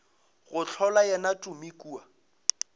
go hlola yena tumi kua